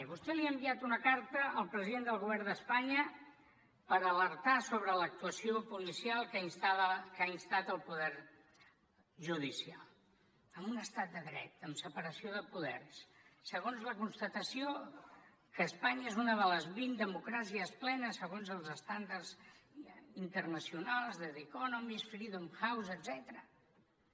vostè li ha enviat una carta al president del govern d’espanya per alertar sobre l’actuació policial que ha instat el poder judicial en un estat de dret amb separació de poders segons la constatació que espanya és una de les vint democràcies plenes segons els estàndards internacionals de the economist freedom house etcètera